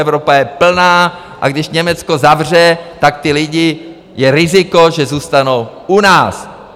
Evropa je plná, a když Německo zavře, tak ti lidé, je riziko, že zůstanou u nás.